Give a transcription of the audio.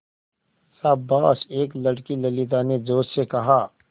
शाबाश एक लड़की ललिता ने जोश से कहा